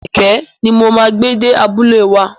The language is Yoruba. Kẹ̀kẹ́ ni mo máa gbé dé abúlé wa.